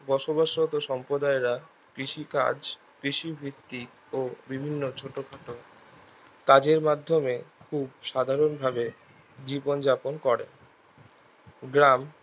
বসবাস হতে সম্প্রদায়েরা কৃষি কাজ কৃষি ভিত্তিক ও বিভিন্ন ছোট খাটো কাজের মাধ্যমে খুব সাধারণ ভাবে জীবন যাপন করে গ্রাম